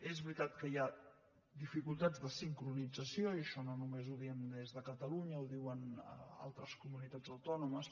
és veritat que hi ha dificultats de sincronització i això no només ho diem des de catalunya ho diuen altres comunitats autònomes